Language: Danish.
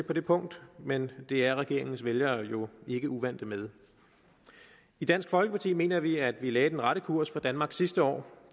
på det punkt men det er regeringens vælgere jo ikke uvante med i dansk folkeparti mener vi at vi lagde den rette kurs for danmark sidste år